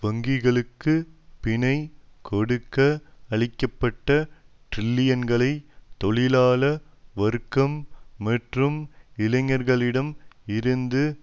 வங்கிகளுக்கு பிணை கொடுக்க அளிக்க பட்ட டிரில்லியன்களை தொழிலாள வர்க்கம் மற்றும் இளைஞர்களிடம் இருந்து